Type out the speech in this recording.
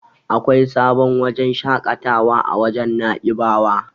Akwai sabon wajen shaƙatawa a wajen Na'ibawa.